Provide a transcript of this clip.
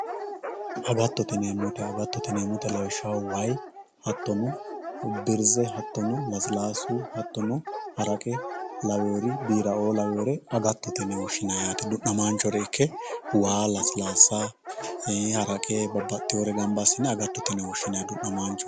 agattote yineemoti agattote yineemoti lawishshaho way hattono birze hattono lasilaasu hattono haraqe laweeori biira"oo laweeore agattote yine woshshinayi yaate du'namaachore ikke waa lasilaasa haraqe babbaxdhioore gamba assine agattote yine woshshinanni du'namaancho.